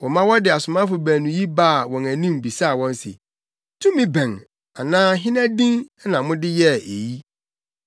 Wɔma wɔde asomafo baanu yi baa wɔn anim bisaa wɔn se, “Tumi bɛn anaa hena din na mode yɛɛ eyi?”